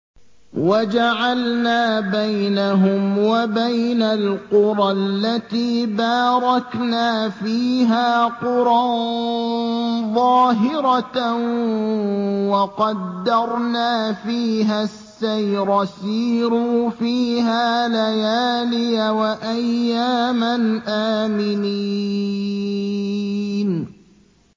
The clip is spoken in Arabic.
وَجَعَلْنَا بَيْنَهُمْ وَبَيْنَ الْقُرَى الَّتِي بَارَكْنَا فِيهَا قُرًى ظَاهِرَةً وَقَدَّرْنَا فِيهَا السَّيْرَ ۖ سِيرُوا فِيهَا لَيَالِيَ وَأَيَّامًا آمِنِينَ